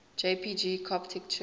jpg coptic church